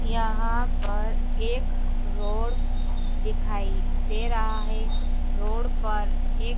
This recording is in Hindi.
यहां पर एक रोड दिखाई दे रहा है रोड पर एक--